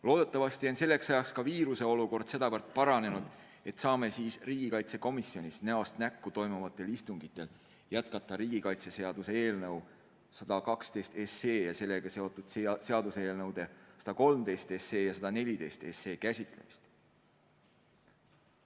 Loodetavasti on selleks ajaks ka viiruseolukord sedavõrd paranenud, et saame riigikaitsekomisjonis näost näkku toimuvatel istungitel jätkata riigikaitseseaduse eelnõu 112 ja sellega seotud seaduseelnõude 113 ja 114 käsitlemist.